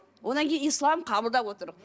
одан кейін ислам қабылдап отыр